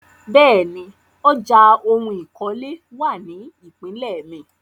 Bẹ́ẹ̀ni, ọjà oun ìkọ́lé wà ní ìpínlè mi.